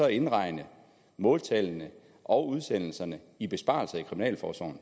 indregne måltallene og udsendelserne i besparelser i kriminalforsorgen